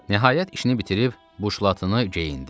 Nəhayət işini bitirib buşlatını geyindi.